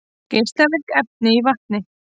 Geislavirk efni í vatni